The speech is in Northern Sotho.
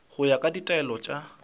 go ya ka ditaelo tša